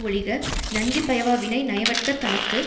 ஒழிக நன்றி பயவா வினை நயவற்க தனக்கு